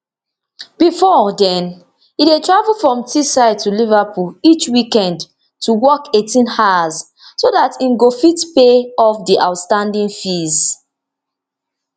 bifor den e dey travel from teesside to liverpool each weekend to work eighteen hours so dat im go fit pay off di outstanding fees